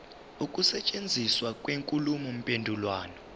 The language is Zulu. ukusetshenziswa kwenkulumo mpendulwano